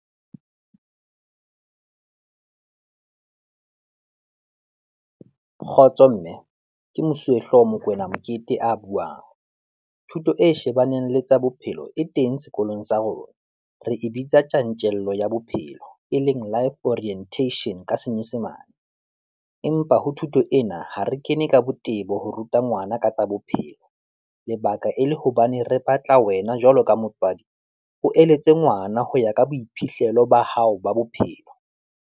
Kgotso Mme, ke mosuwehlooho Mokoena Mokete a buang, thuto e shebaneng le tsa bophelo e teng sekolong sa rona. Re e bitsa tjantjello ya bophelo e leng Life Orientation ka senyesemane. Empa ho thuto ena ha re kene ka botebo ho ruta ngwana ka tsa bophelo, lebaka e le hobane re batla wena jwalo ka motswadi, o eletse ngwana ho ya ka boiphihlelo ba hao ba bophelo.